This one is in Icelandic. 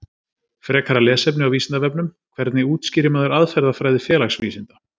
Frekara lesefni á Vísindavefnum: Hvernig útskýrir maður aðferðafræði félagsvísinda?